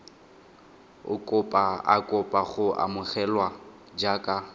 a kopa go amogelwa jaaka